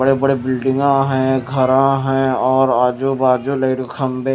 बड़े बड़े बिल्डिंग आ है घर आ है और आजू बाजू लाइट खंभे--